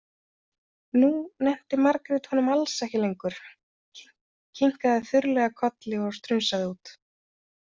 Nú nennti Margrét honum alls ekki lengur, kinkaði þurrlega kolli og strunsaði út.